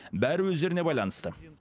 бәрі өздеріне байланысты